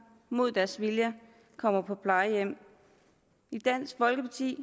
mod deres vilje kommer på plejehjem i dansk folkeparti